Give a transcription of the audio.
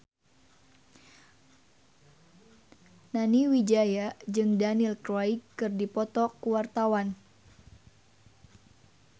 Nani Wijaya jeung Daniel Craig keur dipoto ku wartawan